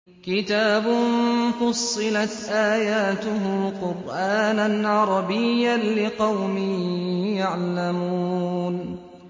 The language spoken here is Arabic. كِتَابٌ فُصِّلَتْ آيَاتُهُ قُرْآنًا عَرَبِيًّا لِّقَوْمٍ يَعْلَمُونَ